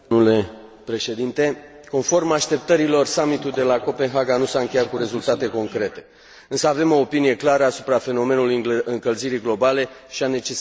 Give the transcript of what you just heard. Conform așteptărilor, summitul de la Copenhaga nu s a încheiat cu rezultate concrete, însă avem o opinie clară asupra fenomenului încălzirii globale și a necesității acțiunii.